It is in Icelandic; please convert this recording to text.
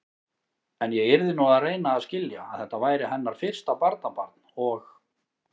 En ég yrði nú að reyna að skilja, að þetta væri hennar fyrsta barnabarn og.